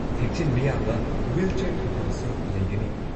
ꯊꯦꯛꯆꯤꯟꯕ ꯌꯥꯕ ꯋꯤꯜꯆꯤꯌꯥꯔ ꯊꯝꯐꯝꯁꯨ ꯂꯩꯒꯅꯤ꯫